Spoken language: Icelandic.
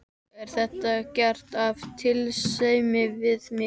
Er þetta gert af tillitssemi við mig?